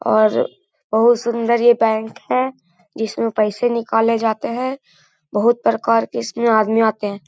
और बोहुत सुंदर ये बैंक है जिसमे पैसे निकाले जाते हैं। बहुत प्रकार के इसमे आदमी आते हैं।